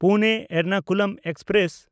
Pune Ernakulam express